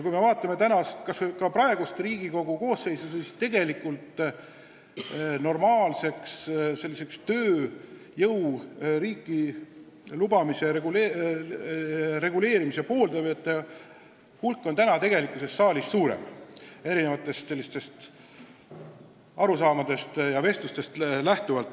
Kui me vaatame praegust Riigikogu koosseisu, siis näeme, et normaalse tööjõu riiki lubamise reguleerimise pooldajate hulk on saalis suurem, kui erinevatest arusaamadest võiks järeldada.